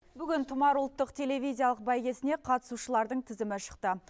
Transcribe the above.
бүгін тұмар ұлттық телевизиялық бәйгесіне қатысушылардың тізімі шықты